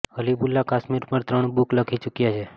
હબીબુલ્લા કાશ્મીર પર ત્રણ બુક લખી ચુક્યા છે